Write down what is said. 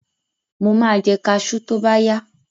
Mo máa jẹ kaṣú tóbáyá.